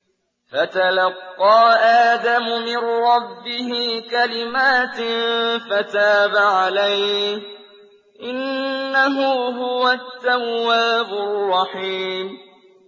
فَتَلَقَّىٰ آدَمُ مِن رَّبِّهِ كَلِمَاتٍ فَتَابَ عَلَيْهِ ۚ إِنَّهُ هُوَ التَّوَّابُ الرَّحِيمُ